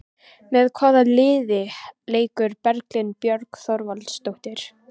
Með hvaða liði leikur Berglind Björg Þorvaldsdóttir?